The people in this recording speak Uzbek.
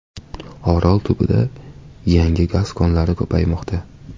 Orol tubida yangi gaz konlari ko‘paymoqda.